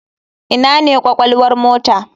Ina ne kwakwalwar mota?